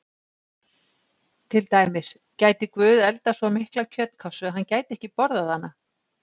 Til dæmis: Gæti Guð eldað svo mikla kjötkássu að hann gæti ekki borðað hana?